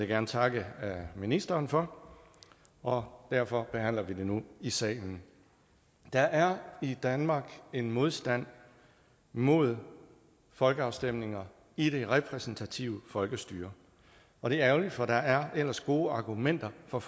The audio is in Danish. gerne takke ministeren for og derfor behandler vi det nu i salen der er i danmark en modstand mod folkeafstemninger i det repræsentative folkestyre og det er ærgerligt for der er ellers gode argumenter for